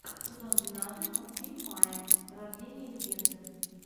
сезон двенадцать мультфильм майя рождение легенды